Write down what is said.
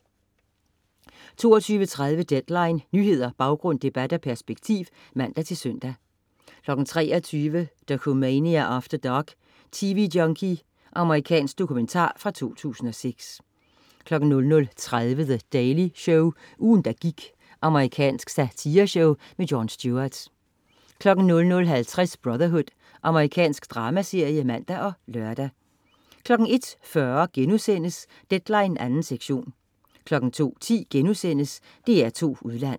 22.30 Deadline. Nyheder, baggrund, debat og perspektiv (man-søn) 23.00 Dokumania After Dark: Tv-junkie. Amerikansk dokumentar fra 2006 00.30 The Daily Show. Ugen, der gik. Amerikansk satireshow. Jon Stewart 00.50 Brotherhood. Amerikansk dramaserie (man og lør) 01.40 Deadline 2. sektion* 02.10 DR2 Udland*